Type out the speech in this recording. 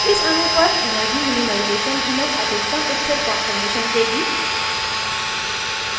इस अणु पर energy minimization हमें अधिकतम स्थिर कान्फॉर्मेशन देगी